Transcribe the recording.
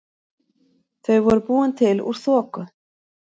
Þau voru búin til úr þoku.